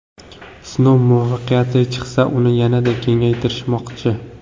Sinov muvaffaqiyatli chiqsa, uni yanada kengaytirishmoqchi.